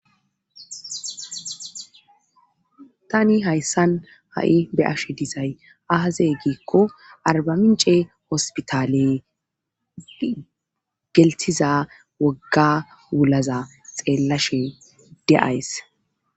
Tani hayssan ha'i be'ashshe dizay aaze giikko arbamince hospitaale gelththiza wogga wulaza xeellashe de'ays